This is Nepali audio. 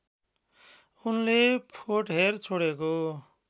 उनले फोर्टहेर छोडेको